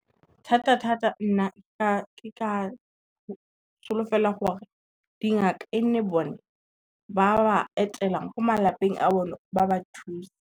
Thata thata nna ke ka solofela gore dingaka e nne bone ba ba etelang ko malapeng a bone ba ba thuse.